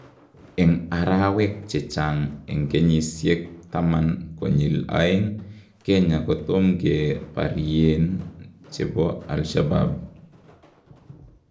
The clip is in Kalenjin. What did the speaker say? En araweek chechang en kenyisyeek taman konyil aeng ,Kenya kotomkee baryeen chebo Alshabaab